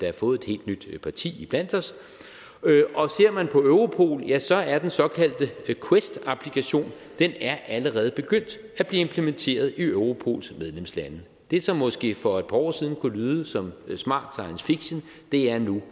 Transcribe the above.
har fået et helt nyt parti iblandt os og ser man på europol ja så er den såkaldte quest applikation allerede begyndt at blive implementeret i europols medlemslande det som måske for et par år siden kunne lyde som smart science fiction er nu